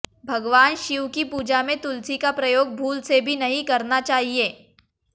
भगवान शिव की पूजा में तुलसी का प्रयोग भूल से भी नहीं करना चाहिए